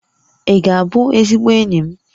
Ị ga-abụ ezigbo enyi m?